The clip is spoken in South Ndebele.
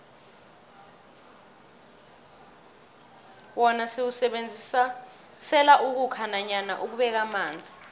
wona siwusebenzisela ukhukha nanyana ukubeka amanzi